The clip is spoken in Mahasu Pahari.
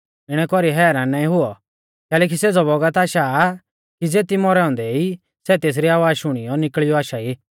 इणै कौरी हैरान नाईं हुऔ कैलैकि सेज़ौ बौगत आशा आ कि ज़ेती मौरै औन्दै ई सै तेसरी आवाज़ शुणियौ निकल़ियौ आशा ई